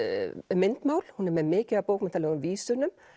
myndmál hún er með mikið af bókmenntalegum vísunum